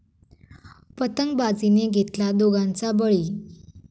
पतंगबाजीने घेतला दोघांचा बळी